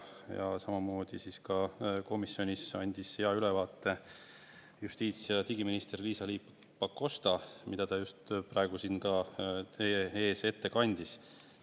Ja samamoodi ka komisjonis andis hea ülevaate justiits- ja digiminister Liisa-Ly Pakosta, mida ta just praegu siin teie ees ette kandis.